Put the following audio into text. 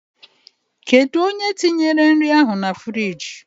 Kedụ onye tinyere nri ahụ na friiji?